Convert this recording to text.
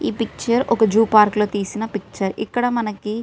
ఈ పిక్చర్ ఒక zoo park లో తీసిన పిక్చర్ ఇక్కడ మనకి --